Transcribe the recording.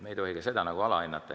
Me ei tohi ka seda alahinnata.